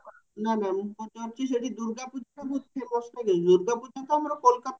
ନା ନା ମୁଁ ପଚାରୁଚି ସେଠି ଦୁର୍ଗ ପୂଜା ସେଠି famous କରେନି ଦୁର୍ଗାପୂଜ ତ ଆମର kolkata